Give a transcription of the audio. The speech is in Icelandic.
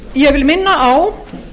ég vil minna á